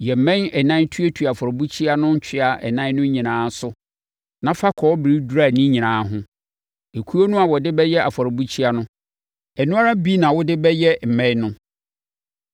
Yɛ mmɛn ɛnan tuatua afɔrebukyia no ntwea ɛnan no nyinaa so, na fa kɔbere dura ne nyinaa ho. Okuo no a wode bɛyɛ afɔrebukyia no, ɛno ara bi na wode bɛyɛ mmɛn no.